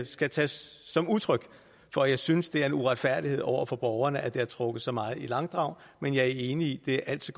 skal tages som udtryk for at jeg synes det er en uretfærdighed over for borgerne at det har været trukket så meget i langdrag men jeg er enig i at det